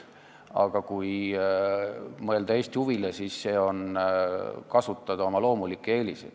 Aga kui mõelda Eesti huvile, siis see huvi võiks olla kasutada oma loomulikke eeliseid.